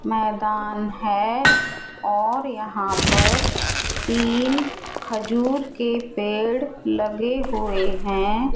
मैदान है और यहां पर तीन खजूर के पेड़ लगे हुए है।